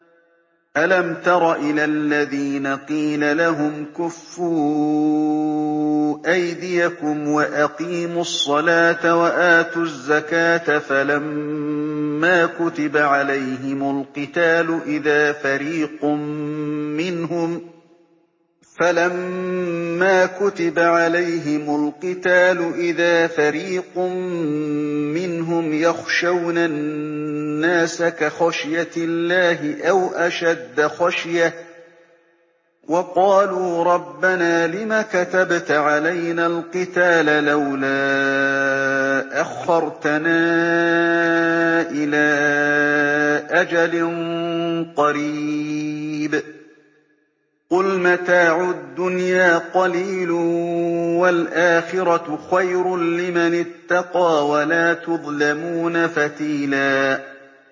أَلَمْ تَرَ إِلَى الَّذِينَ قِيلَ لَهُمْ كُفُّوا أَيْدِيَكُمْ وَأَقِيمُوا الصَّلَاةَ وَآتُوا الزَّكَاةَ فَلَمَّا كُتِبَ عَلَيْهِمُ الْقِتَالُ إِذَا فَرِيقٌ مِّنْهُمْ يَخْشَوْنَ النَّاسَ كَخَشْيَةِ اللَّهِ أَوْ أَشَدَّ خَشْيَةً ۚ وَقَالُوا رَبَّنَا لِمَ كَتَبْتَ عَلَيْنَا الْقِتَالَ لَوْلَا أَخَّرْتَنَا إِلَىٰ أَجَلٍ قَرِيبٍ ۗ قُلْ مَتَاعُ الدُّنْيَا قَلِيلٌ وَالْآخِرَةُ خَيْرٌ لِّمَنِ اتَّقَىٰ وَلَا تُظْلَمُونَ فَتِيلًا